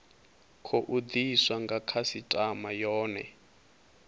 tou diswa nga khasitama yone